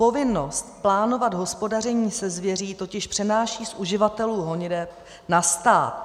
Povinnost plánovat hospodaření se zvěří totiž přenáší z uživatelů honiteb na stát.